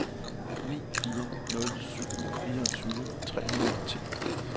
ni fire nul syv fireogtyve tre hundrede og ti